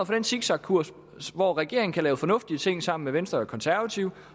for den zigzagkurs hvor regeringen kan lave fornuftige ting sammen med venstre og konservative